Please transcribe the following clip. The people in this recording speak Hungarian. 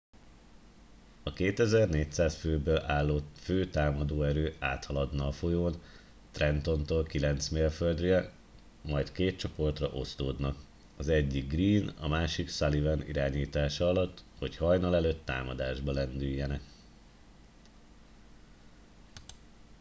a 2400 főből álló fő támadó erő áthaladna a folyón trentontól kilenc mérföldnyire majd két csoportra osztódnak az egyik greene a másik sullivan irányítása alatt hogy hajnal előtt támadásba lendüljenek